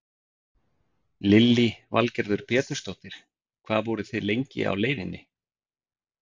Lillý Valgerður Pétursdóttir: Hvað voruð þið lengi á leiðinni?